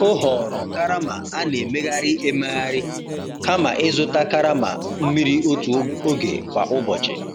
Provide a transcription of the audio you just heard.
O họọrọ karama a na-emegharị emegharị kama ịzụta karama mmiri otu oge kwa ụbọchị.